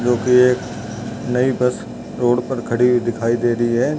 जो कि एक नयी बस रोड पर खड़ी हुई दिखाई दे रही है।